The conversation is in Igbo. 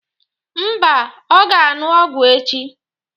Mba, ọ ga-aṅụ ọgwụ echi.